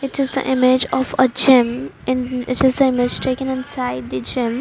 It is the image of a gym and it is the image taken inside the gym.